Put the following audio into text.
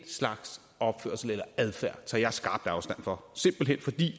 slags opførsel eller adfærd tager jeg skarpt afstand fra simpelt hen fordi